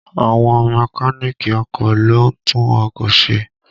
Àwọn Mẹ́káníìkì ọkọ̀ ló ń tún ọkọ̀ ṣe